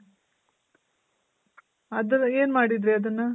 ಅದೆಲ್ಲ ಏನ್ ಮಾಡಿದ್ರಿ ಅದನ್ನ?